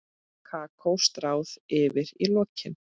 Kakó stráð yfir í lokin.